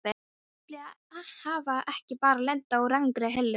Ætli ég hafi ekki bara lent á rangri hillu.